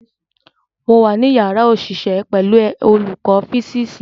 Mo wà ní yàrá òṣìṣẹ́ pẹ̀lú olùkọ́ físíìsì.